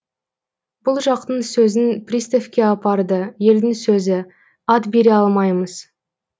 бұл жақтың сөзін приставке апарды елдің сөзі ат бере алмаймыз